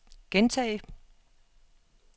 gentag